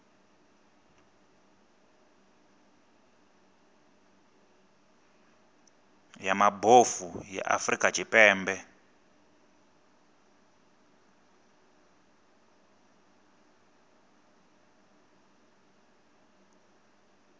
ya mabofu ya afrika tshipembe